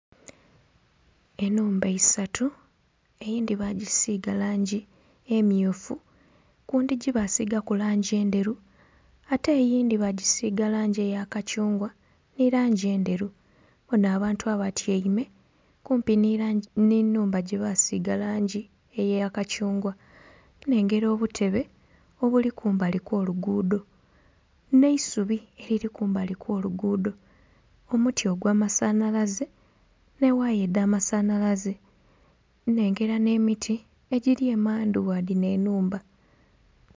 Ennhumba isatu eyindhi bagisiiga langi emmyufu, ku ndhigi baasigaku langi endheru ate eyindhi bagisiiga langi eya kathungwa ni langi endheru. Mbona abantu abatyaime kumpi n'ennhumba gyebasiiga langi eya kathungwa, nnhengera obutebe obuli kumbali kw'oluguudo n'eisubi eriri kumbali kw'oluguudo, omuti ogwamasanalaze n'ewaaya edh'amasanalaze. Nnhengera n'emiti egiri emandhu gha dino ennhumba.